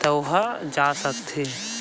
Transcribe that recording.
त ओहा जा सकथे।